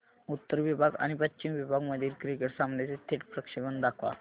उत्तर विभाग आणि पश्चिम विभाग मधील क्रिकेट सामन्याचे थेट प्रक्षेपण दाखवा